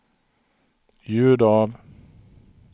ljud av